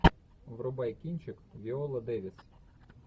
врубай кинчик виола дэвис